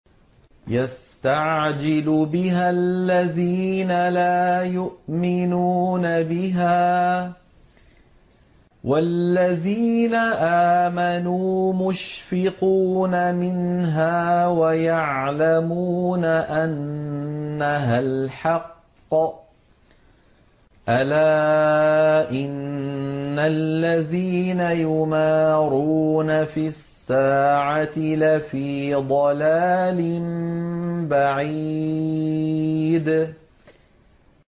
يَسْتَعْجِلُ بِهَا الَّذِينَ لَا يُؤْمِنُونَ بِهَا ۖ وَالَّذِينَ آمَنُوا مُشْفِقُونَ مِنْهَا وَيَعْلَمُونَ أَنَّهَا الْحَقُّ ۗ أَلَا إِنَّ الَّذِينَ يُمَارُونَ فِي السَّاعَةِ لَفِي ضَلَالٍ بَعِيدٍ